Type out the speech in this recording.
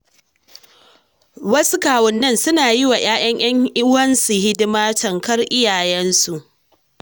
Wasu kawunnai suna yiwa ‘ya’yan ‘yan uwansu hidima tamkar iyayensu.